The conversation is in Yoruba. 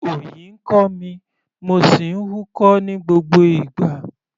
Òyì ń kọ́ mi, mo sì ń húkọ́ ní gbogbo ìgbà.